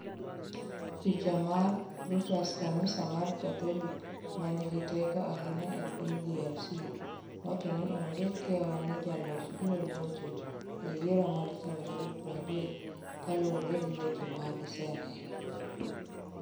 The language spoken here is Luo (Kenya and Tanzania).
Picha mar :Reuters Kanisa mar Katholik ma nigi teko ahinya e piny DRC, wacho ni onge kiawa ni jaloch biro locho e yiero ma Desemba 30, kaluwore gi weche ma giseneno.